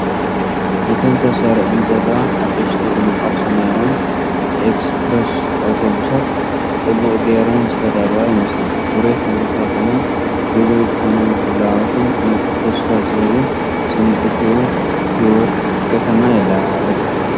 እተን ተሰሪዐን ዘለዋ ሓደስቲ ድሙቓት ሰማያውያን ኤክስፕረስ ኣውቶቡሳት ጽቡቕ ጌረን ዝተዳለዋ ይመስላ። ፍሩይ ሕብርታቶምን ድሉው ዝኾነ ምድላዋትን ንጡፍን ተስፋ ዝህብን ስምዒት ህይወት ከተማ የለዓዕል።